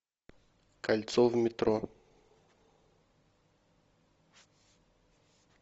кольцо в метро